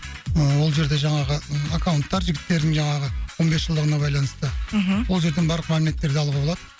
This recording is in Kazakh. ы ол жерде жаңағы аккаунттар жігіттердің жаңағы он бес жылдығына байланысты мхм ол жерден барлық мәліметтерді алуға болады